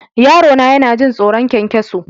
Yarona yana jin tsoron ƙwanƙwaso.